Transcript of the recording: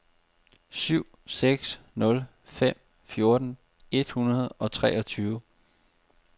syv seks nul fem fjorten et hundrede og treogtyve